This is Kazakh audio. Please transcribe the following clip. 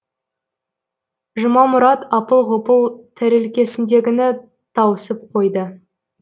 жұмамұрат апыл ғұпыл тәрелкесіндегіні тауысып қойды